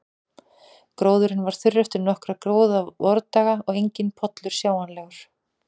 Gróðurinn var þurr eftir nokkra góða vordaga og enginn pollur sjáanlegur.